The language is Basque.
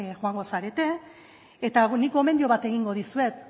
joango zarete eta nik gomendio bat egingo dizuet